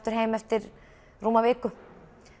fer heim eftir rúma viku